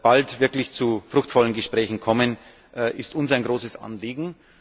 bald wirklich zu fruchtvollen Gesprächen kommen, das ist uns ein großes Anliegen.